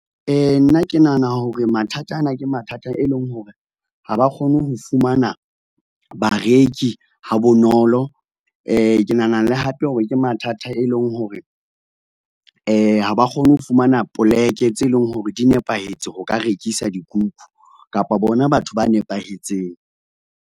Nna ke nahana hore mathata ana, ke mathata e leng hore ha ba kgone ho fumana bareki ha bonolo. Ke nahana le hape hore ke mathata e leng hore, ha ba kgone ho fumana poleke tse leng hore di nepahetse ho ka rekisa dikuku, kapa bona batho ba nepahetseng.